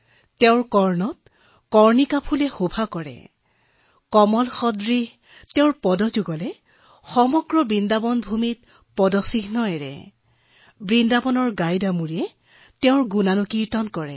তেওঁ কাণত কৰ্ণিকা ফুল ধাৰণ কৰে সমগ্ৰ বৃন্দাবনত তেওঁৰ পদুম ভৰিৰে চিহ্ন এৰি যায় আৰু গাইবোৰে তেওঁৰ মহিমাৰ শব্দ শুনে